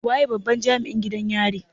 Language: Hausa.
Waye babban Jami'in gidan yarin?